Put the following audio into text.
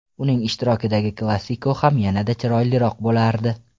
Uning ishtirokidagi Klasiko ham yana-da chiroyliroq bo‘lardi.